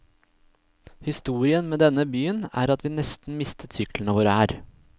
Historien med denne byen, er at vi nesten mistet syklene våre her.